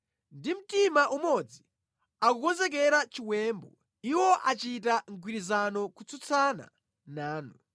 Ndi mtima umodzi akukonzekera chiwembu; Iwo achita mgwirizano kutsutsana nanu: